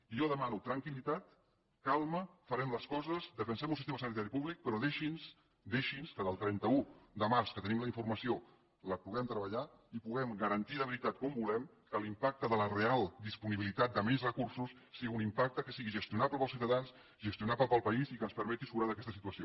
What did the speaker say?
i jo demano tranquil·litat calma farem les coses defensem un sistema sanitari públic però deixi’ns que del trenta un de març que tenim la informació la puguem treballar i puguem garantir de veritat com volem que l’impacte de la real disponibilitat de menys recursos sigui un impacte que sigui gestionable per als ciutadans gestionable per al país i que ens permeti surar d’aquesta situació